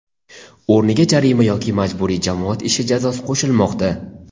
o‘rniga jarima yoki majburiy jamoat ishi jazosi qo‘shilmoqda.